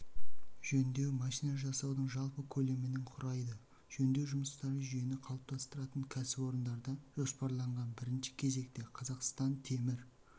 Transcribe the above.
жөндеу машина жасаудың жалпы көлемінің құрайды жөндеу жұмыстары жүйені қалыптастыратын кәсіпорындарда жоспарланған бірінші кезекте қазақстан темір